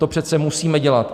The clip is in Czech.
To přece musíme dělat.